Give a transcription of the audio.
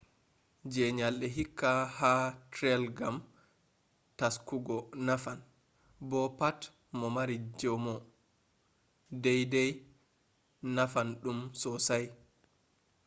je nyalɗe hike ha trail gam taskugo nafan bo pat mo mari jamo dai dai nafan ɗum sossai